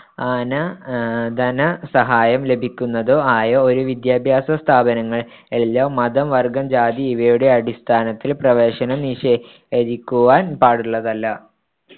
ആന ധനസഹായം ലഭിയ്ക്കുന്നതോ ആയോ ഒരു വിദ്യാഭ്യാസ സ്ഥാപനങ്ങളിലും മതം വർഗ്ഗം ജാതി ഇവയുടെ അടിസ്ഥാനത്തിൽ പ്രവേശനം നിഷേധിയ്ക്കുവാൻ‍ പാടുള്ളതല്ല